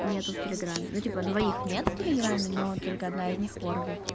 нет в телеграмме ну типа двоих нет в телеграмме но только одна из них в ворде